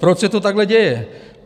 Proč se to takhle děje?